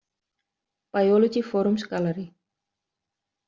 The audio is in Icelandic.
Biology Forums Gallery.